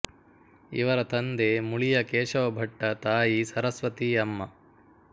ಇವರ ತಂದೆ ಮುಳಿಯ ಕೇಶವ ಭಟ್ಟ ತಾಯಿ ಸರಸ್ವತೀ ಅಮ್ಮ